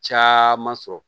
Caman sɔrɔ